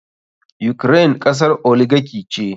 Ukraine kasar oligarchy ce.